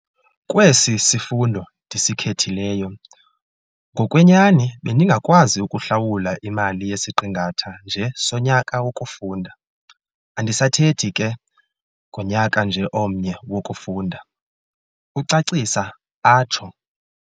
"Kwesi sifundo ndisikhethileyo, ngokwenyani bendingakwazi ukuhlawula imali yesiqingatha nje sonyaka wokufunda, andisathethi ke ngonyaka nje omnye wokufunda," ucacisa atsho.